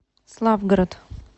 славгород